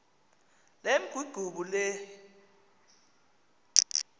lemk igubu lehl